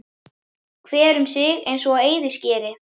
Hver um sig eins og á eyðiskeri.